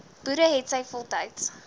boere hetsy voltyds